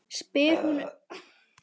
spyr hún upp úr þurru litlu seinna.